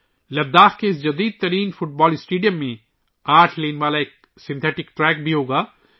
لداخ کے اس جدید فٹ بال اسٹیڈیم میں 8 لین والا مصنوعی ٹریک بھی ہوگا